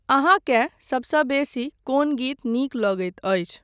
अहाँकेँ सबसँ बेसी कोन गीत नीक लगैत अछि ?